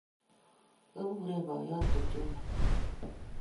kikureno boiyot kipchumba